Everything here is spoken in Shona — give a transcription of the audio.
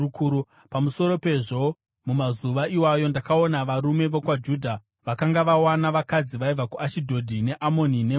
Pamusoro pezvo, mumazuva iwayo, ndakaona varume vokwaJudha vakanga vawana vakadzi vaibva kuAshidhodhi, neAmoni neMoabhu.